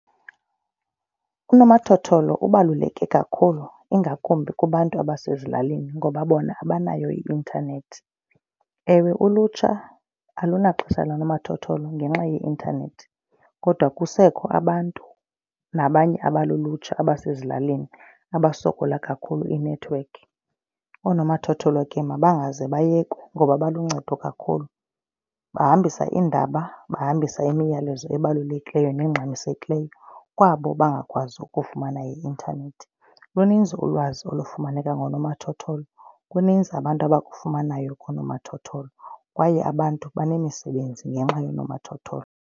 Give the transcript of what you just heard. Unomathotholo ubaluleke kakhulu ingakumbi kubantu abasezilalini ngoba bona abanayo i-intanethi. Ewe, ulutsha alunaxesha lanomathotholo ngenxa ye-intanethi kodwa kusekho abantu nabanye abalulutsha abasezilalini abasokola kakhulu inethiwekhi. Oonomathotholo ke mabangaze bayekwe ngoba baluncedo kakhulu. Bahambisa iindaba, bahambise imiyalezo ebalulekileyo nengxamisekileyo kwabo bangakwazi ukufumana i-intanethi. Luninzi ulwazi olufumaneka ngonomathotholo, kuninzi abantu abakufumanayo koonomathotholo kwaye abantu benemisebenzi ngenxa yoonomathotholo.